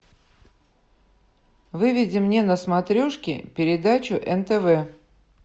выведи мне на смотрешке передачу нтв